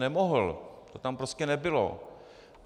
Nemohl, to tam prostě nebylo.